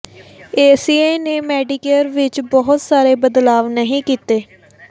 ACA ਨੇ Medicare ਵਿਚ ਬਹੁਤ ਸਾਰੇ ਬਦਲਾਵ ਨਹੀਂ ਕੀਤੇ